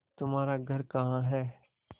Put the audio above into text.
तुम्हारा घर कहाँ है